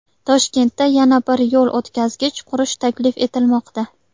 Toshkentda yana bir yo‘l o‘tkazgich qurish taklif etilmoqda.